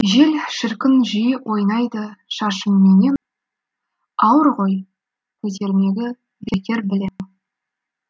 жел шіркін жиі ойнайды шашымменен ауыр ғой көтермегі бекер білем